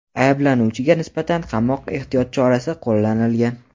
Ayblanuvchiga nisbatan qamoq ehtiyot chorasi qo‘llanilgan.